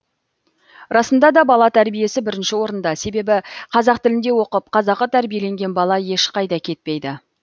расында да бала тәрбиесі бірінші орында себебі қазақ тілінде оқып қазақы тәрбиеленген бала ешқайда кетпейді